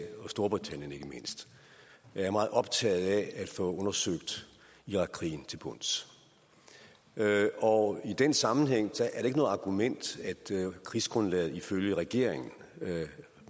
og storbritannien ikke mindst er meget optaget af at få undersøgt irakkrigen til bunds og i den sammenhæng er det ikke noget argument at krigsgrundlaget ifølge regeringen